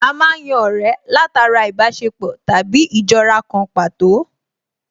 A má ń yan ọ̀rẹ́ látara ìbáṣepọ̀ tàbí ìjọra kan pàtó